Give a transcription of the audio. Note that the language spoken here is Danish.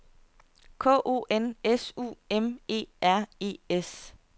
K O N S U M E R E S